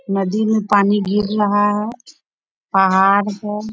नदी में पानी गिर रहा है पहाड़ है।